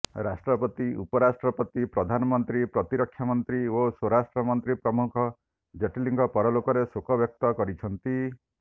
ରାଷ୍ଟ୍ରପତି ଉପରାଷ୍ଟ୍ରପତି ପ୍ରଧାନମନ୍ତ୍ରୀ ପ୍ରତିରକ୍ଷାମନ୍ତ୍ରୀ ଓ ସ୍ୱରାଷ୍ଟ୍ରମନ୍ତ୍ରୀ ପ୍ରମୁଖ ଜେଟଲୀଙ୍କ ପରଲୋକରେ ଶୋକ ବ୍ୟକ୍ତ କରିଛନ୍ତି